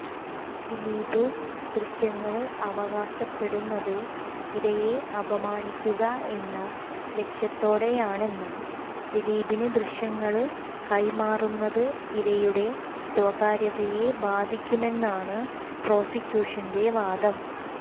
ദിലീപ് ദൃശ്യങ്ങള് അവകാശപ്പെടുന്നത് ഇരയെ അപമാനിക്കുക എന്ന ലക്ഷ്യത്തോടെയാണെന്നും ദിലീപിന് ദൃശ്യങ്ങള് കൈമാറുന്നത് ഇരയുടെ സ്വകാര്യതയെ ബാധിക്കുമെന്നുമാണ് പ്രോസിക്യൂഷന്റെ വാദം